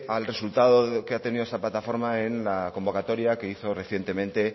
al resultado que ha tenido esta plataforma en la convocatoria que hizo recientemente